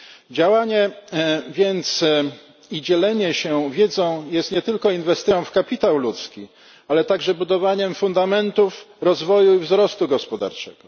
Działanie więc i dzielenie się wiedzą jest nie tylko inwestycją w kapitał ludzki, ale także budowaniem fundamentów rozwoju i wzrostu gospodarczego.